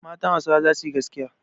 Matan Hausawa za su yi gaskiya.